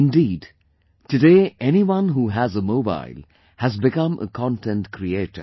Indeed, today anyone who has a mobile has become a content creator